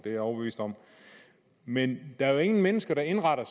er jeg overbevist om men der er jo ingen mennesker der indretter